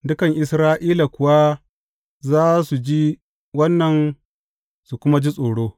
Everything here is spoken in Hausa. Dukan Isra’ila kuwa za su ji wannan su kuma ji tsoro.